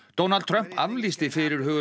Donald Trump aflýsti fyrirhuguðum